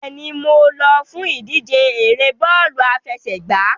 Bẹ́ẹ̀ni, mo lọ fún ìdíje ère bọ́ọ̀lù àfẹsẹ̀gbá.